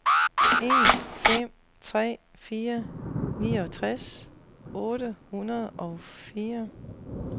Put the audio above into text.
en fem tre fire niogtres otte hundrede og fire